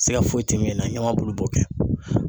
Siga foyi tɛ min na ɲama bulu b'o kɛ